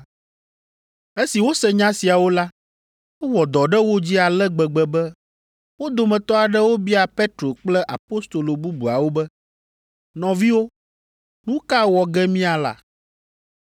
Esi wose nya siawo la, ewɔ dɔ ɖe wo dzi ale gbegbe be wo dometɔ aɖewo bia Petro kple apostolo bubuawo be, “Nɔviwo, nu ka wɔ ge míala?”